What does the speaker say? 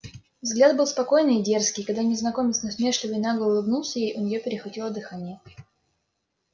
взгляд был спокойный и дерзкий и когда незнакомец насмешливо и нагло улыбнулся ей у неё перехватило дыхание